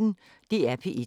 DR P1